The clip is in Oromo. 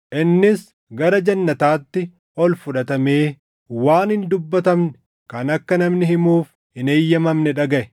innis gara jannataatti ol fudhatamee waan hin dubbatamne kan akka namni himuuf hin eeyyamamne dhagaʼe.